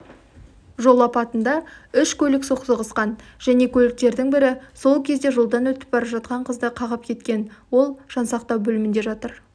жол апатында үш көлік соқтығысқан және көліктердің бірі сол кезде жолдан өтіп бара жатқан қызды қағып кеткен ол жансақтау бөлімінде жатыр